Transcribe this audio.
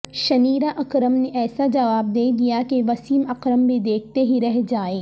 Shaniera Akram نے ایسا جواب دیدیا کہ وسیم اکرم بھی دیکھتے ہی رہ جائیں